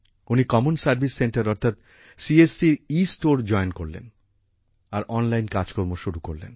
উনি common service centre অর্থাৎ CSC store join করলেন আর অনলাইন কাজকর্ম শুরু করলেন